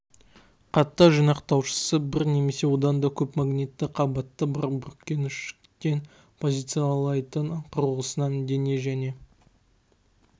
қатты жинақтаушысы бір немесе одан да көп магнитті қабаты бар бүркеншіктен позициялайтын құрылғысынан дене және